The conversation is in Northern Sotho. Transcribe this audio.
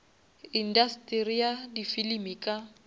industeri ya di filimi ka